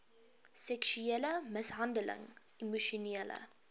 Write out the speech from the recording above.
seksuele mishandeling emosionele